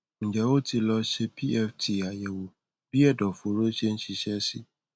ǹjẹ ó ti lọ ṣe pft àyẹwò bí ẹdọfóró ṣe ń ṣiṣẹ sí